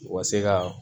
U ka se ka